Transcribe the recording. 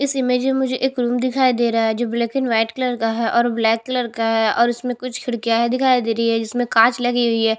इस इमेज में मुझे एक रूम दिखाई दे रहा है जो ब्लैक एंड व्हाइट कलर का है और ब्लैक कलर का है और उसमें कुछ खिड़कियां है दिखाई दे रही है जिसमें कांच लगी हुई है।